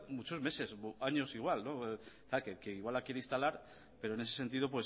muchos meses años igual igual la quiere instalar pero en ese sentido